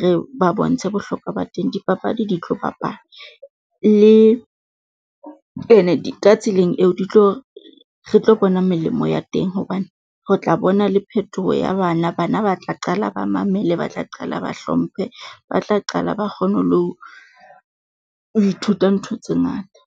re ba bontshe bohlokwa ba teng. Dipapadi di tlo bapalwa le, ene ka tseleng eo di tlo, re tlo bona melemo ya teng hobane re tla bona le phetoho ya bana. Bana ba tla qala ba mamele, ba tla qala ba hlomphe, ba tla qala ba kgone ho lo, ithuta ntho tse ngata.